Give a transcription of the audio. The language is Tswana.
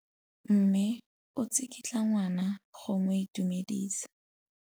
Mme o tsikitla ngwana go mo itumedisa.